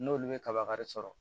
N'olu ye kaba kari sɔrɔ